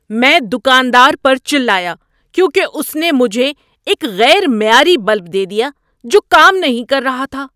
میں دکاندار پر چلایا کیونکہ اس نے مجھے ایک غیر معیاری بلب دے دیا جو کام نہیں کر رہا تھا۔